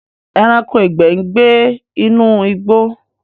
Ẹranko ìgbẹ n gybe inú igbó